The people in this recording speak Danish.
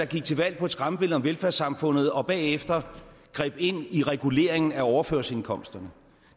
gik til valg på et skræmmebillede af velfærdssamfundet og som bagefter greb ind i reguleringen af overførselsindkomsterne